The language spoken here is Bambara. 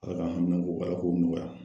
Ala ka haminako Ala k'o nɔgɔya!